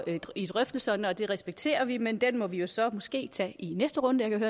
i drøftelserne og det respekterer vi men den må vi jo så måske tage i næste runde jeg kan